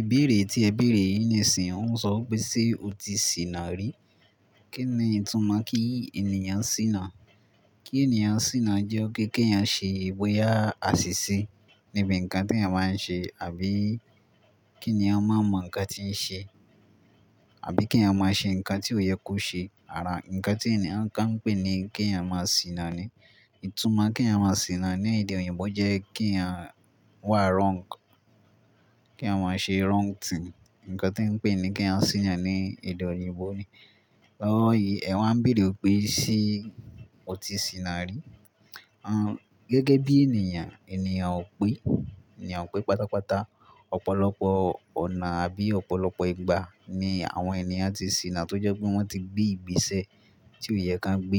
Ìbéèrè tí ẹ béèrè yìí nísin yí ń sọ pé ṣe ó ti sìná rí? Kí ni ìtumọ̀ kí ènìyàn ṣìná? Kí ènìyàn ṣìná jẹ́ pe kẹ̀yàn ṣe bóyá àṣìṣe níbi ǹkan tí ẹ̀yàn máa ń ṣe, àbí kí ẹ̀yàn máa mọ nǹkan tí ń ṣe, àbí kí ẹ̀yàn máa ṣe nǹkan tí ó yẹ kó ṣe. Àrà nǹkan tí ènìyàn kan ń pè ní kí ẹ̀yàn máa ṣìna ni. Ìtumọ̀ kí ẹ̀yàn máa ṣìna ní èdè òyìnbó jẹ́ kí ẹ̀yàn wá wrong, kí ẹ̀yàn máa ṣe wrong thing. Ǹkan tẹ ń pè ní kí ẹ̀yàn ṣìna ní èdè òyìnbó ni. Lọ́wọ́ yìí, ẹ̀ wá ń béèrè pé ṣé o ti ṣìna rí? Ń, gẹ́gẹ́ bí ènìyàn, ènìyàn ò pé, ènìyàn ò pé pátápátá. Ọ̀pọ̀lọpọ̀ ọ̀nà àbí ọ̀pọ̀lọpọ̀ ìgbà ni àwọn ènìyàn ti ṣìna tó jẹ́ pé wọ́n ti gbé ìgbésẹ̀ tí ó yẹ kán gbé.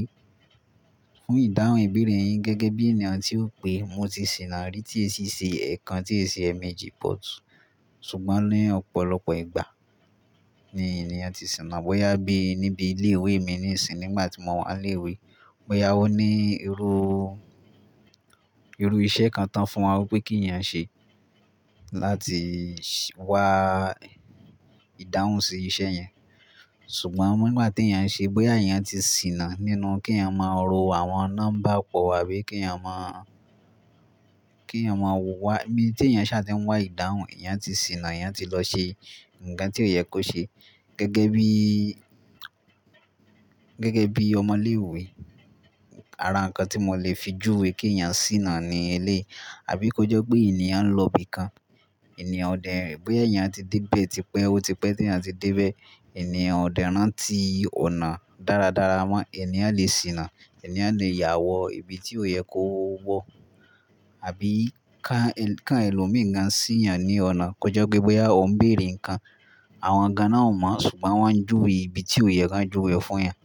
Fún ìdáhùn ìbéèrè yín, gẹ́gẹ́ bí ènìyàn tí ó pé mo ti ṣìna rí tí è sì ṣe ẹ̀ẹ́kan, tí è sì ṣe ẹ̀ẹ̀méjì, but ṣùgbọ́n, ní ọ̀pọ̀lọpọ̀ ìgbà ni ènìyàn ti ṣìna. Bóyá bí níbi ilé ìwé mi ní ìsìn nígbà ti mò wa léèwé, bóyá ó ní irú, irú iṣẹ́ kan tán fún wa wípé kí ẹ̀yàn ṣe, láti wá ìdáhùn sí isẹ́ yẹn. Ṣùgbọ́n nígbà tí ẹ̀yàn ṣe, bóyà ẹ̀yàn ti ṣìna nínú kí ẹ̀yàn máa ro àwọn nọ́mbà pọ̀, àbí kí ẹ̀yàn máa, kí ẹ̀yàn máa wà, ibí tí ẹ̀yàn ṣá tí ń wá ìdáhùn, ẹ̀yàn ti sìná, ẹ̀yàn ti lọ ṣe nǹkan tí ó yẹ kó ṣe. Gẹ́gẹ́ bí, gẹ́gẹ́ bí ọmọ ilé ìwé, ara nǹkan tí mò lè fi juwe kí ẹ̀yàn sìná ni eléyìí. Àbí kó jẹ́ pé ènìyàn ń lọ ibi kan, ènìyàn ò dẹ́, bóyá èyàn ti dé ibẹ̀, ti pẹ́, ó ti pẹ́ tí ẹ̀yàn ti dé ibẹ̀, ènìyàn ò dẹ́ ràntí ọ̀nà dáradára mọ́, ènìyàn lè sìná. Ẹ̀yàn lè yàwọ ibi tí ó yẹ kó wọ̀, àbí ká, ká ẹlòmí gàn sìyàn ní ọ̀nà kó jẹ́ pé bóyá òun ń bèèrè nǹkan, àwọn gán náà ò mọ̀, ṣùgbọ́n wọ́n ń juwe ibi tí ó yẹ kán juwe fún ẹ̀yàn,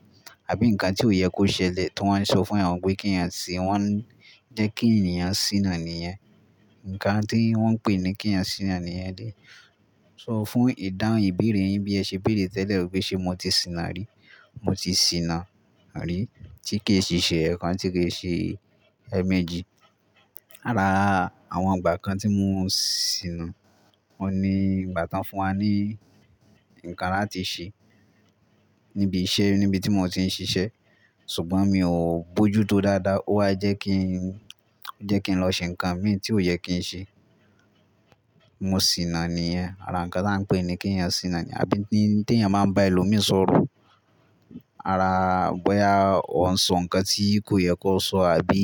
àbí nǹkan tí ó yẹ kó ṣẹlẹ̀ tó wọ́n sọ fún ẹ̀yàn wípé kí ẹ̀yàn ṣe wọ́n, ń jẹ́ kí ẹ̀yàn sìná nìyẹn. Ǹkan tí wọ́n ń pè ní kí ẹ̀yàn sìná nìyẹn. So fún ìdáhùn ìbéèrè yín bí ẹ ṣe béèrè tẹ́lẹ̀ pé ṣe mo ti sìná rí? Mo ti ṣìna rí tí kìí sì ṣe ẹ̀ẹ́kan, tí kìí ṣe ẹ̀ẹ̀méjì. Ará àwọn ìgbà kan tí mò ń sìná, òun ní ìgbà tán fún wa ní nǹkan láti ṣe níbi iṣẹ́ níbi tí mò ń ti ń ṣiṣẹ́, ṣùgbọ́n mi ò bojútó dáadáa, ó wá jẹ́ kí ń, jẹ́ kí ń lọ ṣe nǹkan mí tí ó yẹ kí ń ṣe. Mo sìná nìyẹn. Ará nǹkan tań pè ní kí ẹ̀yàn sìná ni. Àbí tí ẹ̀yàn máa ń bá ẹlòmí sọ̀rọ̀, ará bóyá ó ń sọ nǹkan tí kò yẹ kó sọ, àbí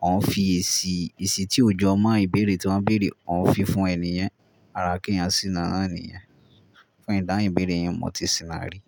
ó ń fi èsì, èsì tí ó jọ mọ́ ìbéèrè tí wọ́n béèrè, ó ń fi fún enì yen. Ará kí ẹ̀yàn sìná náà nìyẹn. Fún ìdáhùn ìbéèrè yín, mo ti sìná rí.